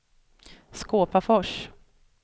Skåpafors